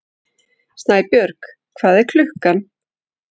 Snæbjörg, hvað er klukkan?